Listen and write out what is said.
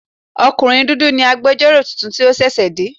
Ọkùnrin dúdú ni agbẹjọ́rò tuntun tí ó ṣẹ̀ṣẹ̀ dé.